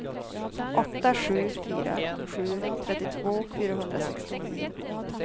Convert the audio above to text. åtta sju fyra sju trettiotvå fyrahundrasextionio